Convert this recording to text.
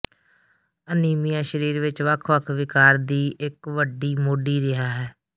anaemia ਸਰੀਰ ਵਿੱਚ ਵੱਖ ਵੱਖ ਿਵਕਾਰ ਦੀ ਇਕ ਵੱਡੀ ਮੋਢੀ ਰਿਹਾ ਹੈ